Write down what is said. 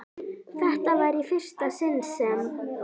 Þetta var í fyrsta sinn sem